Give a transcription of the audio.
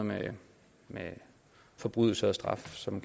med forbrydelse og straf som